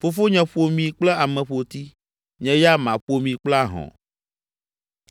Fofonye ƒo mi kple ameƒoti; nye ya maƒo mi kple ahɔ̃.”